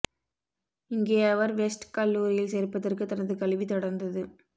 இங்கே அவர் வெஸ்ட் கல்லூரியில் சேர்ப்பதற்கு தனது கல்வி தொடர்ந்தது